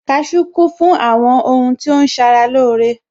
Owo Owo kún fún àwọn ohun tí ó ń ṣara lóore